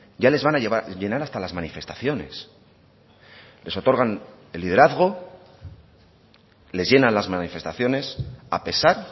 ya les van a llenar hasta las manifestaciones les otorgan el liderazgo les llenan las manifestaciones a pesar